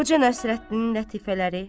Xoca Nəsrəddinin lətifələri.